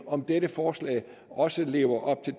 om dette forslag også lever op til